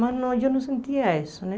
Mas não, eu não sentia isso, né?